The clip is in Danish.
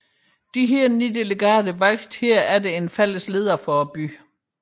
Disse ni delegater valgte derefter en fælles leder for byen